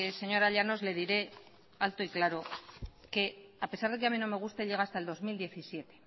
señora llanos le diré alto y claro que a pesar de que a mí no me guste llega hasta el dos mil diecisiete